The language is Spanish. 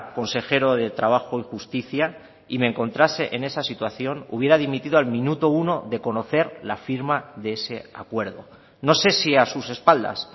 consejero de trabajo y justicia y me encontrase en esa situación hubiera dimitido al minuto uno de conocer la firma de ese acuerdo no sé si a sus espaldas